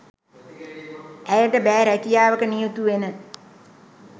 ඇයට බෑ රැකියාවක නියුතු වෙන